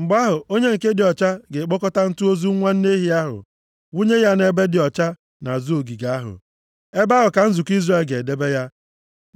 “Mgbe ahụ, onye nke dị ọcha, ga-ekpokọta ntụ ozu nwa nne ehi ahụ, wụnye ya nʼebe dị ọcha nʼazụ ogige ahụ. Ebe ahụ ka nzukọ Izrel ga-edebe ya